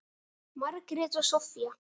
Margrét og Soffía.